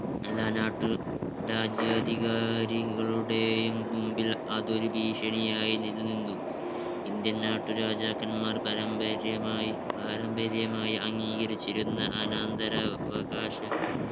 എല്ലാ നാട്ടു രാജ്യാധികാരികളുടെയും മുമ്പിൽ അതൊരു ഭീഷണിയായി നിലനിന്നു. indian നാട്ടുരാജാക്കന്മാർ പരമ്പര്യമായി പാരമ്പര്യമായി അംഗീകരിച്ചിരുന്ന അനന്തരാവകാശ